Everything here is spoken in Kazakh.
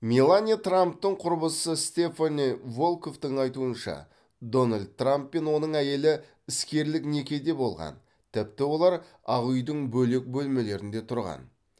мелания трамптың құрбысы стефани волкоффтың айтуынша дональд трамп пен оның әйелі іскерлік некеде болған тіпті олар ақ үйдің бөлек бөлмелерінде тұрған